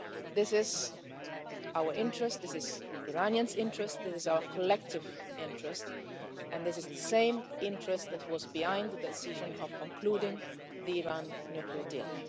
This is in our interest, this is in Iranians' interest, this is our collective interest, and this is the same interest that was behind the decision to conclude the Iran nuclear deal.